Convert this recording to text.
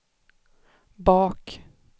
bak